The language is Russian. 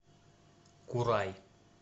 курай